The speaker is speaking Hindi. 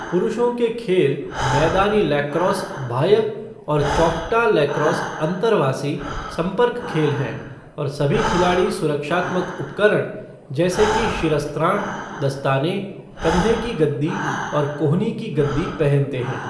पुरुषों के खेल, मैदानी लैक्रोस बाह्य और चौखटा लैक्रोस अन्तर्वासी, संपर्क खेल हैं और सभी खिलाड़ी सुरक्षात्मक उपकरण, जैसे कि शिरस्त्राण, दस्ताने, कंधे की गद्दी और कोहनी की गद्दी पहनते हैं।